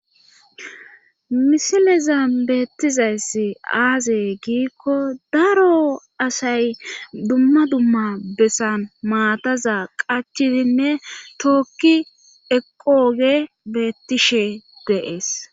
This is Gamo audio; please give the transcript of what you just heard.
Misileza beettizayssi aaze giikko daro asay dumma dumma bessan maataza qachidinne tookki eqooge beettishe deees.